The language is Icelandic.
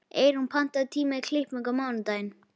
Eyrún, pantaðu tíma í klippingu á mánudaginn.